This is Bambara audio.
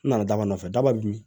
N nana daba nɔfɛ daba bin